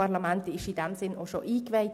Dieses wurde am 02. 09. 2016 eingeweiht.